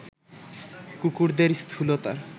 কুকুরদের স্থূলতার